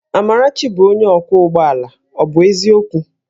Amarachi bụ onye ọkwọ ụgbọ ala, ọ bụ eziokwu?